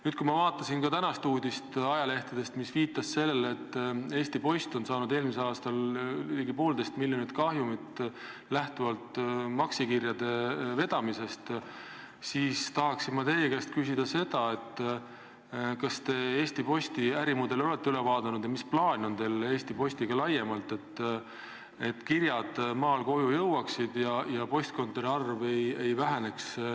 Nüüd, kui ma vaatasin tänastest ajalehtedest uudist, mis viitas sellele, et Eesti Post on eelmisel aastal saanud maksikirjade vedamisega ligi poolteist miljonit kahjumit, siis tahaksin ma teie käest küsida, et kas te Eesti Posti enda ärimudeli olete üle vaadanud ja mis plaan on teil Eesti Postiga laiemalt, et kirjad maal koju jõuaksid ja postkontorite arv nullini ei väheneks.